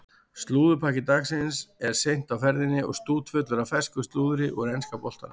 Slúðurpakki dagsins er seint á ferðinni og stútfullur af fersku slúðri úr enska boltanum.